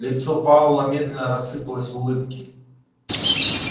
лицо пауэлла медленно рассыпалось в улыбке